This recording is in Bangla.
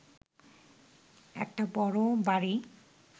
একটা বড় বাড়ি